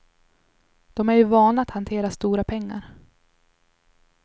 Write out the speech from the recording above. De är ju vana att hantera stora pengar.